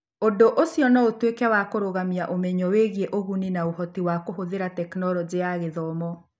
ũndũ ũcio no ũtuĩke wa kũrũgamia ũmenyo wĩgiĩ ũguni na ũhoti wa kũhũthĩra Tekinoronjĩ ya Gĩthomo.